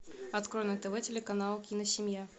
открой на тв телеканал киносемья